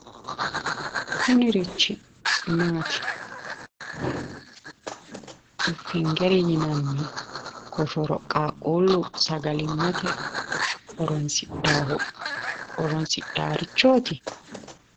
Kunirichi maati? Finger yinanni koshoro qaaqquullu sagalimmate horonsidhaarichooti?